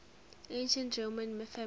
ancient roman families